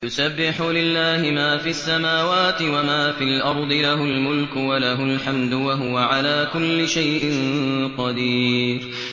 يُسَبِّحُ لِلَّهِ مَا فِي السَّمَاوَاتِ وَمَا فِي الْأَرْضِ ۖ لَهُ الْمُلْكُ وَلَهُ الْحَمْدُ ۖ وَهُوَ عَلَىٰ كُلِّ شَيْءٍ قَدِيرٌ